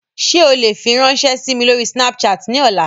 Ṣe o le firanṣẹ si mi lori Snapchat ni ọla?